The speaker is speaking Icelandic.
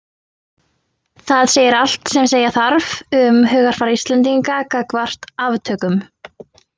Það segir allt sem segja þarf um hugarfar Íslendinga gagnvart aftökum.